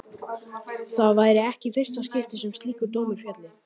Það væri ekki í fyrsta skipti sem slíkur dómur félli.